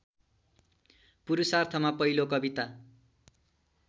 पुरुषार्थमा पहिलो कविता